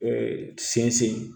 sinsin